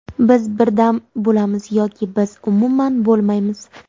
Biz birdam bo‘lamiz, yoki biz umuman bo‘lmaymiz.